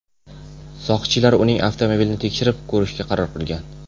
Soqchilar uning avtomobilini tekshirib ko‘rishga qaror qilgan.